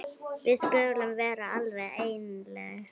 Við skulum vera alveg einlæg.